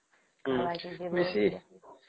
ହଁ ବେଶୀ